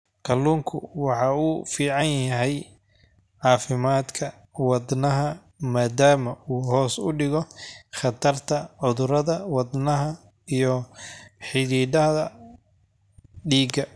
Kalluunku waxa uu u fiican yahay caafimaadka wadnaha maadaama uu hoos u dhigo khatarta cudurrada wadnaha iyo xididdada dhiigga.